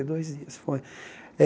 Quarenta e dois dias, foi.